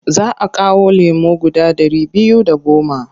Za a kawo lemo guda ɗari biyu da goma.